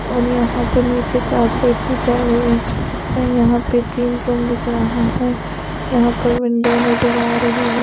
और यहां पर नीचे कार्पेट भी चाहे हुए हैं यहां पे जीम रूम दिख रहा है यहां पर विंन्डों नजर आ रही है ।